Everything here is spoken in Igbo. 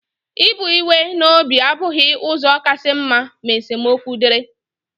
Ibu iwe n'obi abụghị ụzọ kasị mma ma esemokwu dịrị.